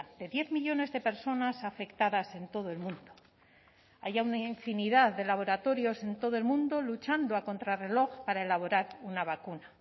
de diez millónes de personas afectadas en todo el mundo hay ya una infinidad de laboratorios en todo el mundo luchando a contrarreloj para elaborar una vacuna